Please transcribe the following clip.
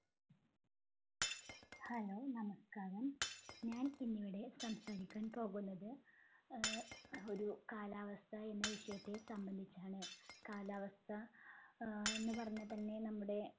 hello നമസ്കാരം ഞാൻ ഇന്നിവിടെ സംസാരിക്കാൻ പോകുന്നത് ഏർ ഒരു കാലാവസ്ഥ എന്ന ഒരു വിഷയത്തെ സംബന്ധിച്ചാണ് കാലാവസ്ഥ ഏർ എന്നുപറഞ്ഞാൽ തന്നെ നമ്മുടെ